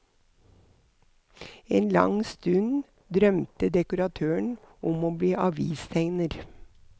En lang stund drømte dekoratøren om å bli avistegner.